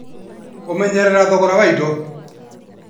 Kũmenyerera thogora wa indo